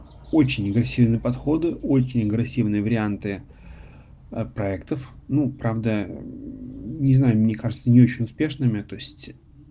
очень агрессивные подходы очень агрессивные варианты проектов ну правда не знаю мне кажется не очень успешными то есть